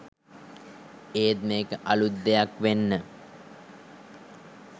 ඒත් මේක අලුත් දෙයක් වෙන්න